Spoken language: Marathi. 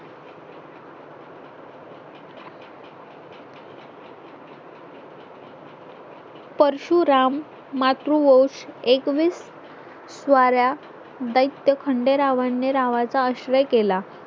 परशुराम मातृवोश एकवीस वारा बैठक खंडेरावाने रावाचा आश्रय केला